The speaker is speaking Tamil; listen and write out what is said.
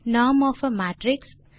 norm of a matrix